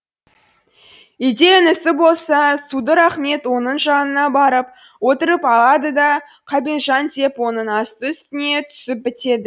үйде інісі болса судыр ахмет оның жанына барып отырып алады да қабенжан деп оның асты үстіне түсіп бітеді